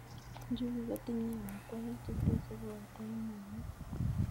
njuguk ko tinye amitwogik che teche porto ak mwanik